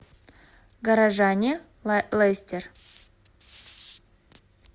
горожане лестер